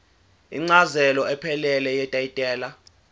incazelo ephelele yetayitela